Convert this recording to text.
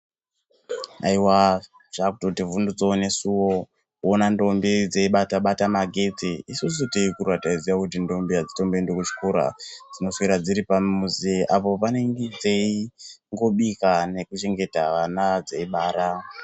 Ayiwa zvakutotivhundutsawo nesuwo kuona ndombi dzeibata bata magetsi. lsusu teikura taiziya kuti ndombi hadzitomboendi kuchikora, dzinoswera dziri pamuzi apo panenge dzeingobika nekuchengeta vana dzeibara.